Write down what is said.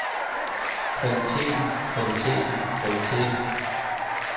kvaliteten kvaliteten kvaliteten